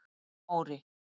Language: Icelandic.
Móri